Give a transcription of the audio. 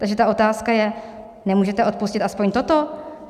Takže ta otázka je: Nemůžete odpustit aspoň toto?